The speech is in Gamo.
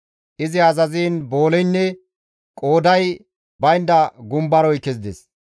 Izi azaziin booleynne qooday baynda gumbaroy kezides.